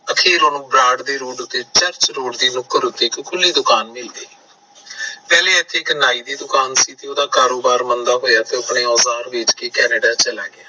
ਆਖਿਰ ਉਸ ਨੂੰ ਬਰਾੜ ਰੋਡ ਤੇ ਨੁਕੜ ਉਤੇ ਇੱਕ ਖੁਲੀ ਦੁਕਾਨ ਮਿਲ ਗਈ ਪਹਿਲਾ ਇੱਥੇ ਇੱਕ ਨਾਈ ਦੀ ਦੁਕਾਨ ਸੀ ਤੇ ਉਹਦਾ ਕਾਰੋਬਾਰ ਮੰਦਾ ਹੋਇਆ ਤਾਂ ਆਪਣੇ ਔਜਾਰ ਵੇਚ ਕੇ ਕੈਨੇਡਾ ਚਲਾ ਗਿਆ